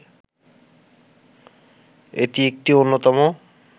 এটি একটি অন্যতম